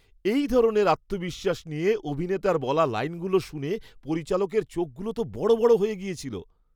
এই ধরনের আত্মবিশ্বাস নিয়ে অভিনেতার বলা লাইনগুলো শুনে পরিচালকের চোখগুলো তো বড় বড় হয়ে গিয়েছিল।